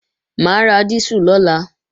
Mà á ra dísù lọ́la